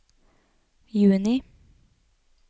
juni